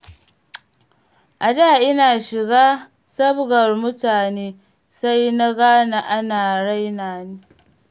A da ina shiga sabgar mutane, sai na gane ana raina ni.